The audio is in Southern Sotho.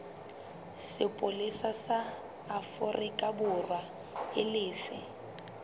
sepolesa sa aforikaborwa e lefe